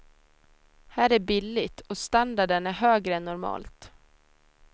Här är billigt och standarden är högre än normalt.